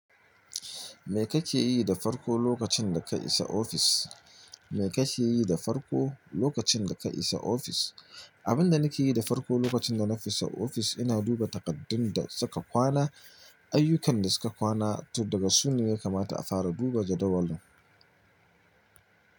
Me kake yi da farko lokacin da ka isa ofis? Me kake yi da farko lokacin da ka isa ofis? Abinda nake yi da farko lokacin da na fita ofis ina duba takardun da suka kwana, ayyukan da suka kwana to daga su ne ya kamata a fara duba jadawalin.